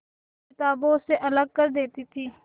किताबों से अलग कर देती थी